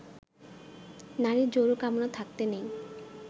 নারীর যৌন কামনা থাকতে নেই